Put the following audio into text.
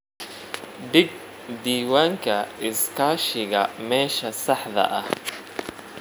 Dhig diiwaanka iskaashiga meesha saxda ah.